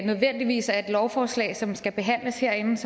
nødvendigvis er et lovforslag som skal behandles herinde